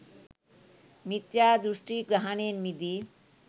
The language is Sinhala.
මිථ්‍යාදෘෂ්ඨි ග්‍රහණයෙන් මිදී